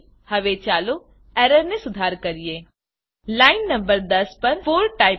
હવે ચાલો એરરને સુધાર કરીએ લાઈન નંબર 10 પર 4 ટાઈપ કરો